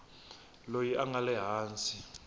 loyi a nga le hansi